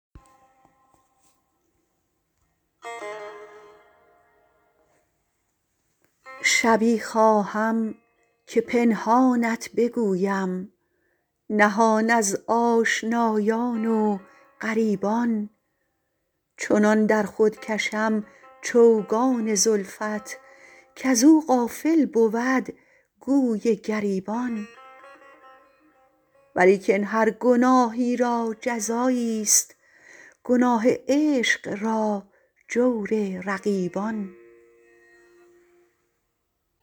شبی خواهم که پنهانت بگویم نهان از آشنایان و غریبان چنان در خود کشم چوگان زلفت کزو غافل بود گوی گریبان ولیکن هر گناهی را جزاییست گناه عشق را جور رقیبان